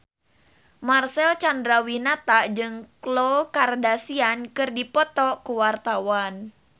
Marcel Chandrawinata jeung Khloe Kardashian keur dipoto ku wartawan